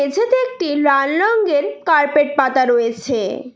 মেঝেতে একটি লাল রঙের কার্পেট পাতা রয়েছে।